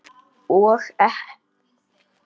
Og ekkert gerist.